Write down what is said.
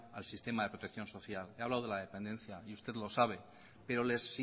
al sistema de protección social he hablado de la dependencia y usted lo sabe pero les